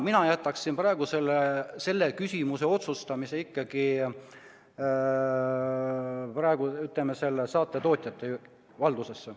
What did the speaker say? Mina jätaksin praegu selle üle otsustamise ikkagi saate tootjate valdusesse.